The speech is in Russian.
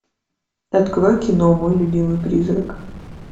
открой кино мой любимый призрак